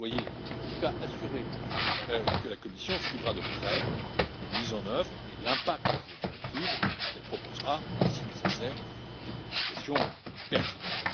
Soyez, en tout cas, assurés que la Commission suivra de près la mise en œuvre et l'impact de la directive, et qu'elle proposera, si nécessaire, des modifications pertinentes.